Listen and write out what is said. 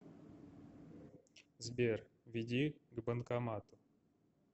сбер веди к банкомату